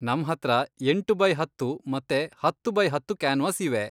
ನಮ್ಹತ್ರ ಎಂಟು ಬೈ ಹತ್ತು ಮತ್ತೆ ಹತ್ತು ಬೈ ಹತ್ತು ಕ್ಯಾನ್ವಾಸ್ ಇವೆ.